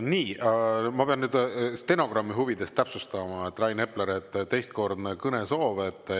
Nii, ma pean nüüd stenogrammi huvides täpsustama, et Rain Epleril on teistkordne kõnesoov.